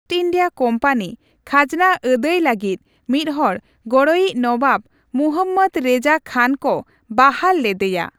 East India company ᱠᱷᱟᱡᱱᱟ ᱟᱹᱫᱟᱹᱭ ᱞᱟᱹᱜᱤᱫ ᱢᱤᱫᱦᱚᱲ ᱜᱚᱲᱚᱭᱤᱪ ᱱᱚᱣᱟᱵᱽ, ᱢᱩᱦᱚᱢᱽᱢᱚᱫ ᱨᱮᱡᱟ ᱠᱷᱟᱱ ᱠᱚ ᱵᱟᱦᱟᱞ ᱞᱮᱫᱮᱭᱟ ᱾